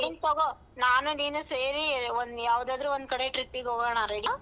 ನೀನ್ ತಗೋ ನಾನು ನೀನು ಸೇರಿ ಒಂದ್ ಯಾವ್ದಾದ್ರು ಒಂದ್ ಕಡೆ trip ಗೆ ಹೋಗಣ ready ಯಾ.